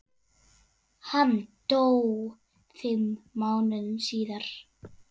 Hann dó fimm mánuðum síðar.